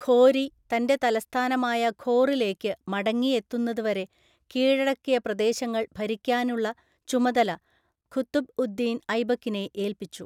ഘോരി തൻ്റെ തലസ്ഥാനമായ ഘോറിലേക്ക് മടങ്ങിയെത്തുന്നതുവരെ കീഴടക്കിയ പ്രദേശങ്ങൾ ഭരിക്കാനുള്ള ചുമതല ഖുതുബ് ഉദ് ദിൻ ഐബക്കിനെ ഏൽപ്പിച്ചു.